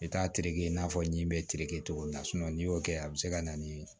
I bɛ taa tereke i n'a fɔ ɲi be tereke cogo min na n'i y'o kɛ a bɛ se ka na ni